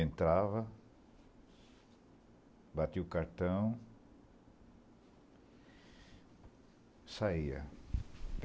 Entrava... Batia o cartão... Saía.